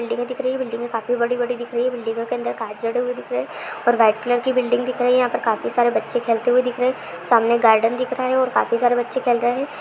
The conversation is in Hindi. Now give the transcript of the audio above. बिल्डिंगे दिख रही है बिल्डिंगे काफी बड़ी-बड़ी दिख रही है| बिल्डिंगो के अंदर कांच जड़े हुए दिख रहे हैं और वाइट कलर की बिल्डिंग दिख रही है| यहां पर काफी सारे बच्चे खेलते हुए दिख रहे हैं सामने गार्डन दिख रहा है और काफी सारे बच्चे खेल रहे हैं।